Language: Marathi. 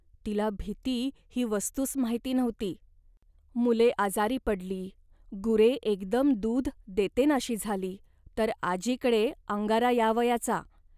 तिला भीती ही वस्तूच माहिती नव्हती. मुले आजारी पडली, गुरे एकदम दूध देतनाशी झाली, तर आजीकडे अंगारा यावयाचा